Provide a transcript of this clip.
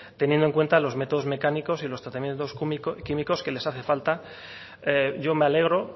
teniendo en cuenta los métodos mecánicos y los tratamientos químicos que les hace falta yo me alegro